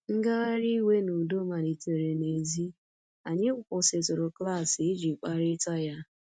Ngagharị iwe n’udo malitere n’èzí, anyị kwụsịtụrụ klaasị iji kparịta ya.